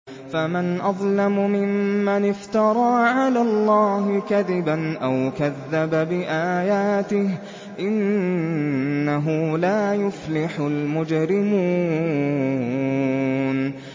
فَمَنْ أَظْلَمُ مِمَّنِ افْتَرَىٰ عَلَى اللَّهِ كَذِبًا أَوْ كَذَّبَ بِآيَاتِهِ ۚ إِنَّهُ لَا يُفْلِحُ الْمُجْرِمُونَ